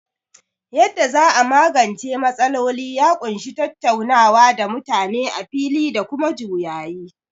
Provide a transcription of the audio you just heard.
Yadda za a magance matsaloli ya ƙunshi tattaunawa da mutane a fili da kuma juyayi.